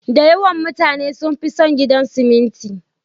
Da yawan mutane sun fi son gidan siminti.